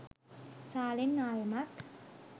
සාලෙන් ආයෙමත්